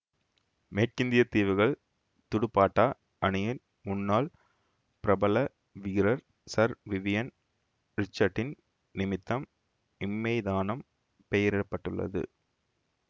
மேற்கிந்திய தீவுகள் துடுப்பாட்ட அணியின் முன்னாள் பிரபல வீரர் சர் விவியன் ரிச்சட்சின் நிமித்தம் இம்மைதானம் பெயரிட பட்டுள்ளது